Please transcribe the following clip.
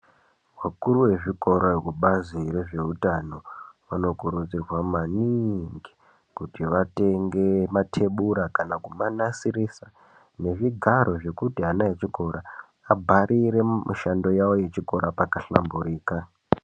Vakuru vezvikora vekubazi rezveutano vanokurudzirwa maniiingi, kuti vatenge mathebura, kana kumanasirisa, nezvigaro zvekuti ana echikora abharire mishando yawo yechikora pakahlamburika.